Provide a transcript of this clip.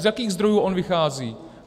Z jakých zdrojů on vychází?